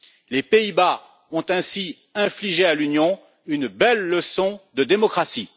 Les Pays Bas ont ainsi infligé à l'Union une belle leçon de démocratie.